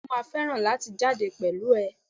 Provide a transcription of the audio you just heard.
bẹẹni, mọ má ferán latí jade pẹlu e